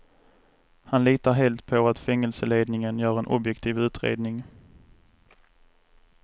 Han litar helt på att fängelseledningen gör en objektiv utredning.